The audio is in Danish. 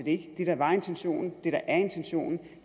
ikke det der var intentionen det der er intentionen